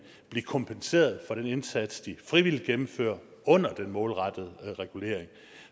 blive kompenseret for den indsats de frivilligt gennemfører under den målrettede regulering